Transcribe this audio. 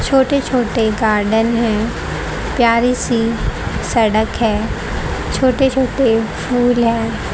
छोटे छोटे गार्डन है प्यारी सी सड़क है छोटे छोटे फूल हैं।